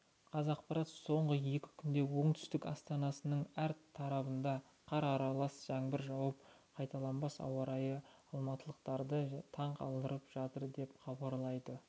қазақпарат соңғы екі күнде оңтүстік астанасының әр тарабында қар аралас жаңбыр жауып қайталанбас ауа райы алматылықтарды таң қалдырып жатыр деп хабарлайды